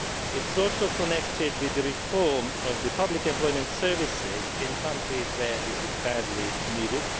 It is also connected with the reform of public employment services in countries where this is badly needed.